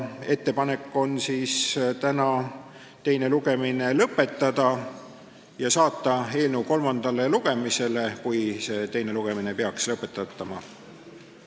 Ettepanek on täna teine lugemine lõpetada ja saata eelnõu kolmandale lugemisele, kui teine lugemine peaks lõpetatama.